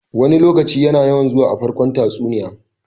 "Wani lokaci" yana yawan zuwa a farkon tatsuniya.